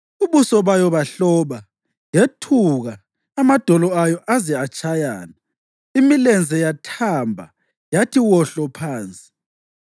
Ubuso bayo bahloba, yethuka amadolo ayo aze atshayana, imilenze yathamba yathi wohlo phansi.